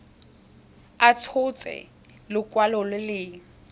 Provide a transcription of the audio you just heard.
a tshotse lekwalo le le